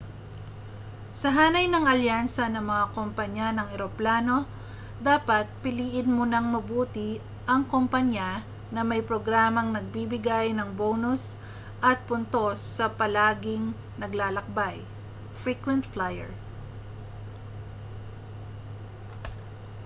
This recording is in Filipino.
sa hanay ng alyansa ng mga kompanya ng eroplano dapat piliin mo nang mabuti ang kompanya na may programang nagbibigay ng bonus at puntos sa palaging naglalakbay frequent flyer